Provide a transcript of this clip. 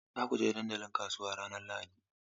Za ku je dandalin kasuwa ranar Lahadi?